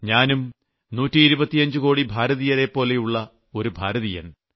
ഞാനും 125 കോടി ഭാരതീയരെപ്പോലുള്ള ഒരു ഭാരതീയൻ